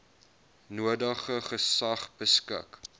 nodige gesag beskik